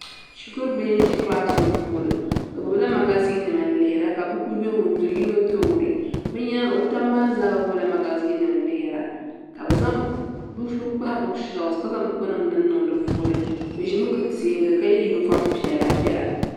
shɛkuri bia n ʒɛ kilasi rumɛ puuni bɛ gbala magazine nim yuuna ka buku do be tuuni be nyɛŋa be tabi maa gbala magazine nim yuuna ka be kpahi buku shɛli ka be zaŋ buku niŋ di puuni be ʒɛmi gili tɛbuli ka yɛ yuniƒɔm piɛli piɛlla